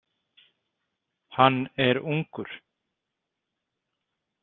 Hann er ungur.